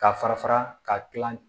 Ka fara fara ka kila